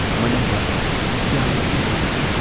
ꯃꯅꯨꯡꯗ ꯌꯥꯝꯅ ꯂꯨ ꯅꯥꯜꯂꯤ